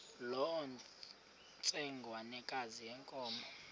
loo ntsengwanekazi yenkomo